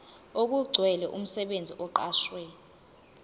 okugcwele umsebenzi oqashwe